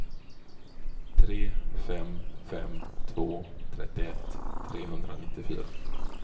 tre fem fem två trettioett trehundranittiofyra